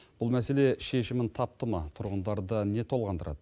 бұл мәселе шешімін тапты ма тұрғындарды не толғандырады